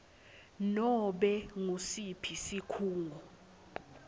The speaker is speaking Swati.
nobe ngusiphi sikhungo